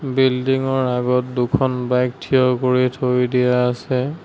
বিল্ডিংৰ আগত দুখন বাইক থিয় কৰি থৈ দিয়া আছে।